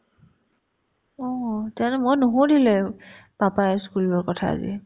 অ, তেওঁতো মই নুসুধিলে papa ই school ৰ কথা আজি